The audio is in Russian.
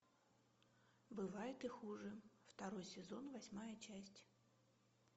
бывает и хуже второй сезон восьмая часть